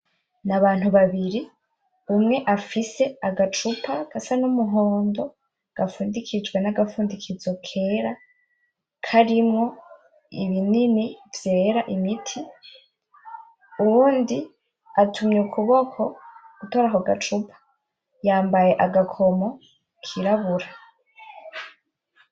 Ni abantu babiri umwe afise agacupa gasa n'umuhondo gafundikijwe n'agafundikizo kera karimwo ibinini vyera imiti uwundi atumye ukuboko gutora ako gacupa yambaye agakomo kirabura .